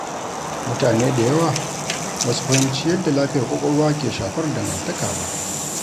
Mutane da yawa ba su fahimci yadda lafiyar kwakwalwa ke shafar dangantaka ba.